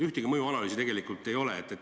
Ühtegi mõjuanalüüsi tegelikult ei ole.